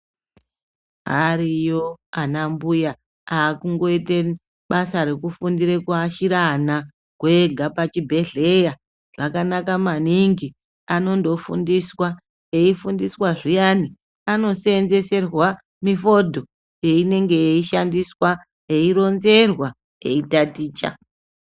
Ariyo ana mbuya akungoite basa rekuashire ana kwenga pachibhehleya zvakanaka maningi anondofundiswa eifundiswa zviyani anosenzereswa mifondo yeinenge yeishandiswa eironzerwa eitaticha.